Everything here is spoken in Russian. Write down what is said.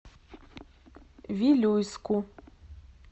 вилюйску